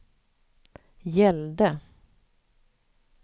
gällde